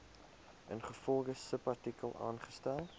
ingevolge subartikel aangestel